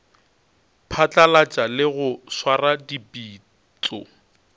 phatlalatša le go swara dipitšo